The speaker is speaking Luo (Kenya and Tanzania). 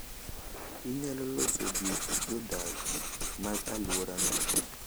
Inyalo loso gi jodak mag alworano.